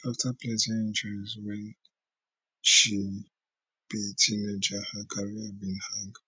afta plenty injuries wen she be teenager her career bin hang